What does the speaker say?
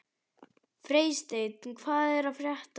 Freysteinn, hvað er að frétta?